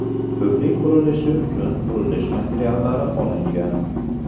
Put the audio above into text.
Ko‘prik qurilishi uchun qurilish materiallari olingan.